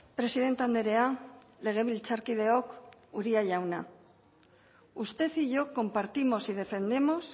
presidente andrea legebiltzarkideok uria jauna usted y yo compartimos y defendemos